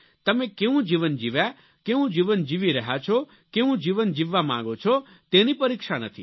તમે કેવું જીવન જીવ્યા કેવું જીવન જીવી રહ્યા છો કેવું જીવન જીવવા માંગો છો તેની પરીક્ષા નથી